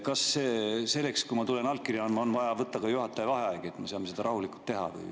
Kas selleks, kui ma tulen allkirja andma, on vaja võtta ka juhataja vaheaeg, et me saaks seda rahulikult teha?